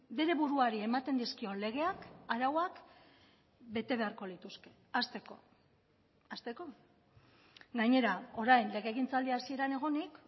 bere buruari ematen dizkion legeak arauak bete beharko lituzke hasteko hasteko gainera orain legegintzaldi hasieran egonik